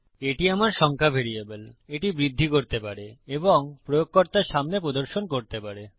এটি আমার সংখ্যা ভ্যারিয়েবল এটি বৃদ্ধি করতে পারে এবং প্রয়োগকর্তার সামনে প্রদর্শন করতে পারে